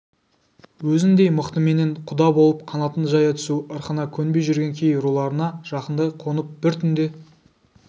өзіндей мықтыменен құда болып қанатын жая түсу ырқына көнбей жүрген кей руларына жақындай қонып бір түнде